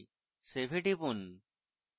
save এ টিপুন